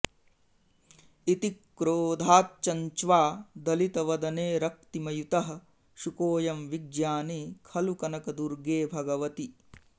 इति क्रोधाच्चञ्च्वा दळितवदने रक्तिमयुतः शुकोऽयं विज्ञानी खलु कनकदुर्गे भगवति